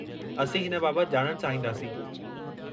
असीं हिन बाबति ॼाणण चाहींदासीं।